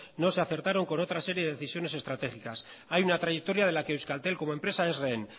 no se acertaron con otras series de decisiones estratégicas hay una trayectoria de la que euskaltel como empresa es rehén